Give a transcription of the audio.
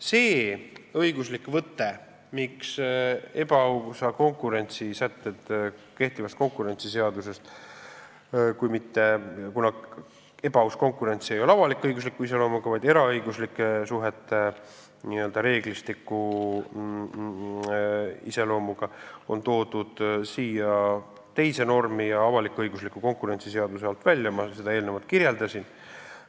Seda õiguslikku võtet, miks ebaausa konkurentsi sätted on kehtivast konkurentsiseadusest – ebaaus konkurents ei ole avalik-õigusliku iseloomuga, vaid eraõiguslike suhete n-ö reeglistiku iseloomuga – toodud siia teise normi, avalik-õigusliku konkurentsiseaduse alt välja, ma eelnevalt kirjeldasin.